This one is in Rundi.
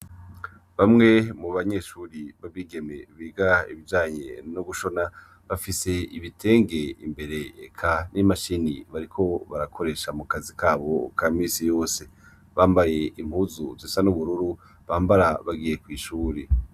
bamwe mu banyeshuri b'abigeme biga ibijanye no gushona bafise ibitenge imbere eka n'imashini bariko barakoresha mu kazi kabo ka misi yose bambaye impuzu zisa n'ubururu bambara bagiye kwishuri